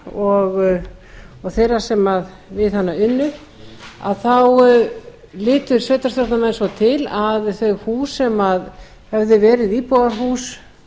ratsjárstöðvarinnar og þeirra sem við hana unnu litu sveitarstjórnarmenn svo til að þau hús sem höfðu verið íbúðarhús